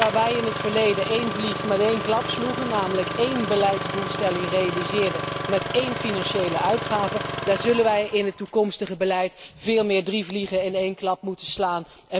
Waar wij in het verleden één vlieg in één klap sloegen, namelijk één beleidsdoelstelling realiseren met één financiële uitgave, daar zullen wij in het toekomstige beleid veel meer, namelijk drie vliegen in één klap moeten slaan.